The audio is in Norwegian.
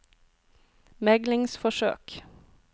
meglingsforsøk